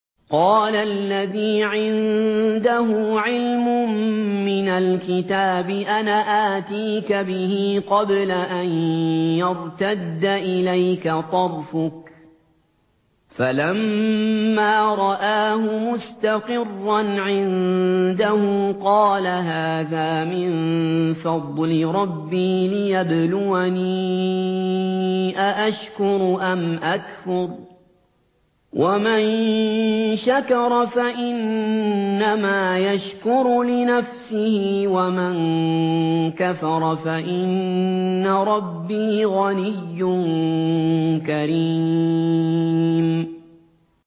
قَالَ الَّذِي عِندَهُ عِلْمٌ مِّنَ الْكِتَابِ أَنَا آتِيكَ بِهِ قَبْلَ أَن يَرْتَدَّ إِلَيْكَ طَرْفُكَ ۚ فَلَمَّا رَآهُ مُسْتَقِرًّا عِندَهُ قَالَ هَٰذَا مِن فَضْلِ رَبِّي لِيَبْلُوَنِي أَأَشْكُرُ أَمْ أَكْفُرُ ۖ وَمَن شَكَرَ فَإِنَّمَا يَشْكُرُ لِنَفْسِهِ ۖ وَمَن كَفَرَ فَإِنَّ رَبِّي غَنِيٌّ كَرِيمٌ